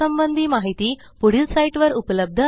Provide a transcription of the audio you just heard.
यासंबंधी माहिती पुढील साईटवर उपलब्ध आहे